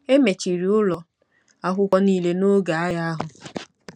E mechiri ụlọ akwụkwọ niile n'oge agha ahụ.